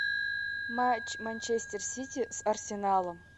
матч манчестер сити с арсеналом